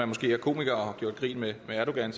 måske er komiker og har gjort grin med erdogan